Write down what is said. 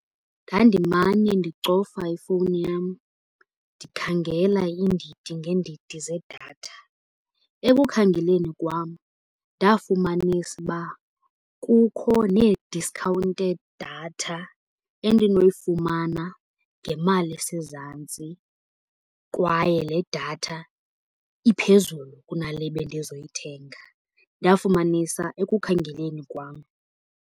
Ndandimane ndicofa ifowuni yam ndikhangela iindidi ngeendidi zedatha. Ekukhangeleni kwam ndafumanisa uba kukho nee-discounted data endinoyifumana ngemali esezantsi, kwaye le datha iphezulu kunale bendizoyithenga. Ndafumanisa ekukhangeleni kwam.